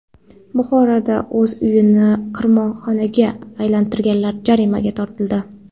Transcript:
Buxoroda o‘z uyini qimorxonaga aylantirganlar jarimaga tortildi.